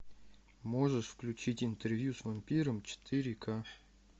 можешь включить интервью с вампиром четыре к